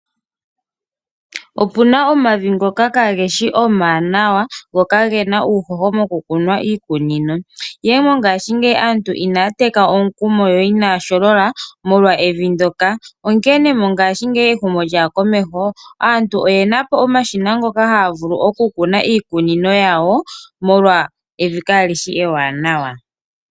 Opuna omavi ngoka ka geshi omawanawa, go kagena uuhoho mokukuna iikunino, ihe mongashingeyi aantu inaa teka omukumo yo inaya sholola, molwa evi ndjoka. Onkene mongashingeyi ehumo lyaya komeho, aantu oyena omashina ngoka haa vulu okukuna iikunino yawo, molwa evi ndjoka kalishi ewananawa.